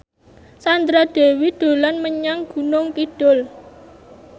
Sandra Dewi dolan menyang Gunung Kidul